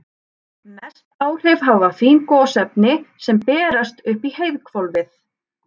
Mest áhrif hafa fín gosefni sem berast upp í heiðhvolfið.